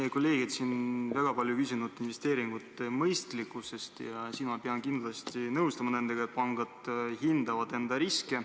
Meie kolleegid on siin väga palju küsinud investeeringute mõistlikkuse kohta ja siin pean ma kindlasti nendega nõustuma, et pangad hindavad enda riske.